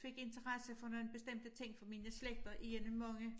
Fik interesse for nogle bestemte ting fra mine slægter er en af mange